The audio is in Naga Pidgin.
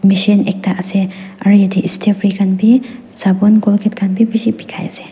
machine ekta ase aro yatae stay free khan bi sapun colgate khan bi bishi bikai ase--